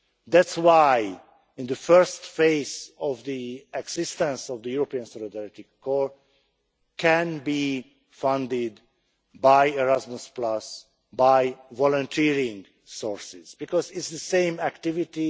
That is why the first phase of the existence of the European Solidarity Corps can be funded by Erasmus by volunteering sources, because it is the same activity.